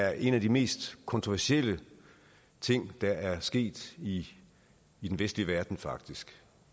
er en af de mest kontroversielle ting der er sket i i den vestlige verden faktisk